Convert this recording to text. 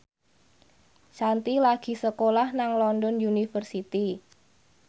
Shanti lagi sekolah nang London University